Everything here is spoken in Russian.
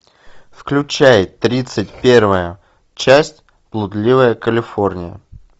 включай тридцать первая часть блудливая калифорния